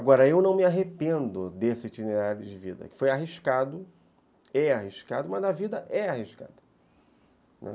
Agora, eu não me arrependo desse itinerário de vida, que foi arriscado, é arriscado, mas na vida é arriscado.